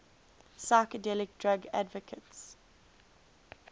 psychedelic drug advocates